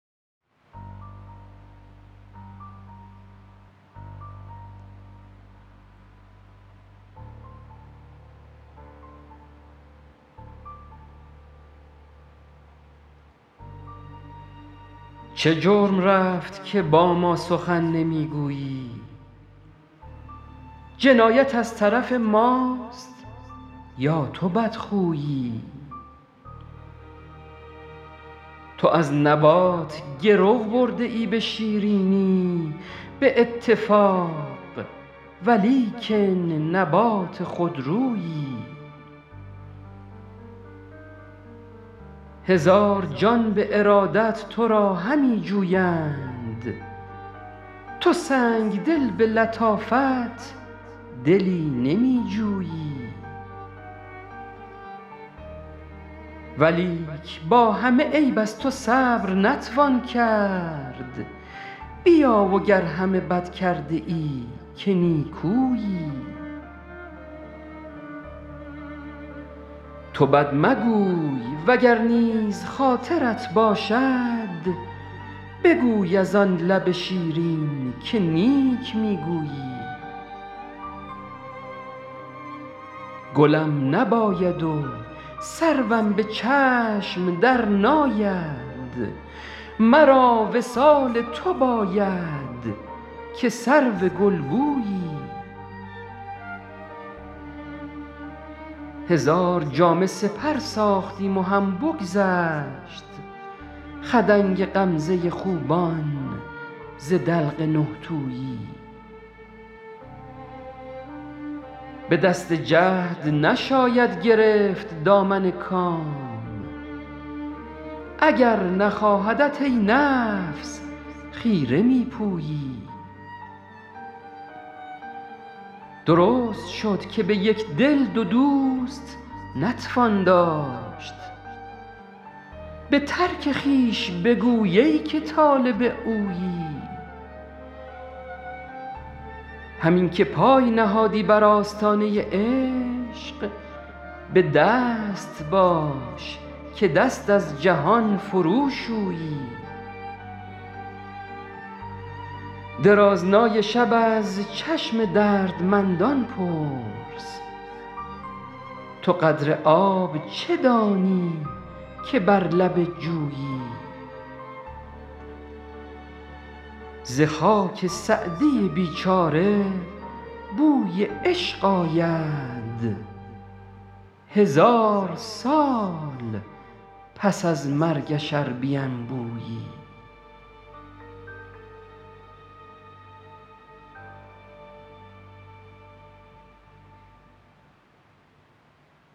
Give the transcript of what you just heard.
چه جرم رفت که با ما سخن نمی گویی جنایت از طرف ماست یا تو بدخویی تو از نبات گرو برده ای به شیرینی به اتفاق ولیکن نبات خودرویی هزار جان به ارادت تو را همی جویند تو سنگدل به لطافت دلی نمی جویی ولیک با همه عیب از تو صبر نتوان کرد بیا و گر همه بد کرده ای که نیکویی تو بد مگوی و گر نیز خاطرت باشد بگوی از آن لب شیرین که نیک می گویی گلم نباید و سروم به چشم درناید مرا وصال تو باید که سرو گلبویی هزار جامه سپر ساختیم و هم بگذشت خدنگ غمزه خوبان ز دلق نه تویی به دست جهد نشاید گرفت دامن کام اگر نخواهدت ای نفس خیره می پویی درست شد که به یک دل دو دوست نتوان داشت به ترک خویش بگوی ای که طالب اویی همین که پای نهادی بر آستانه عشق به دست باش که دست از جهان فروشویی درازنای شب از چشم دردمندان پرس تو قدر آب چه دانی که بر لب جویی ز خاک سعدی بیچاره بوی عشق آید هزار سال پس از مرگش ار بینبویی